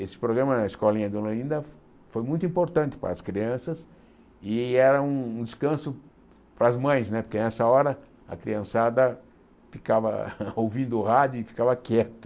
Esse programa na Escolinha Dona Olinda foi muito importante para as crianças e era um descanso para as mães não é, porque nessa hora a criançada ficava ouvindo o rádio e ficava quieta.